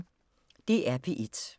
DR P1